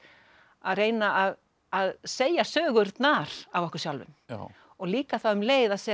að reyna að að segja sögurnar af okkur sjálfum og líka þá um leið að segja